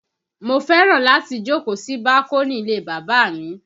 Mo fẹ́ràn láti jókòó sí bákónì ilé bàbá mi